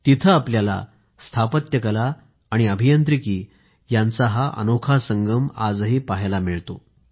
तिथं आपल्याला स्थापत्य कला आणि अभियांत्रिकी यांचा अनोखा संगम पहायला मिळतो